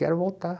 Quero voltar.